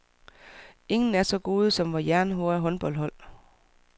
Ingen er så gode som vores jernhårde håndboldhold.